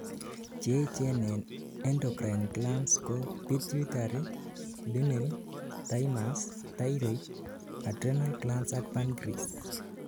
Cheechen en endocrine glands ko pituitary, pineal, thymus, thyroid, adrenal glands ak pancreas